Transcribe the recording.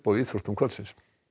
íþróttum kvöldsins